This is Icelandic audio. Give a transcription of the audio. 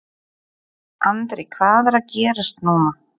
Andri hvað er að gerast núna?